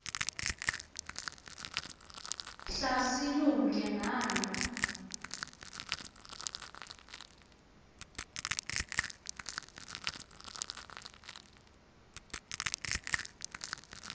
hlasi lumke nayo